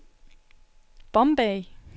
Bombay